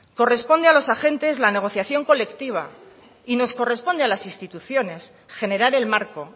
corresponde a los agentes la negociación colectiva y nos corresponde a las instituciones generar el marco